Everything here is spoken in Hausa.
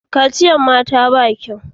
Kaciyan mata ba kyau